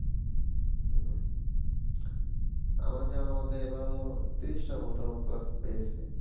হম আমার জানার মতে এবার হলো তিরিশটার মতো plus পেয়েছে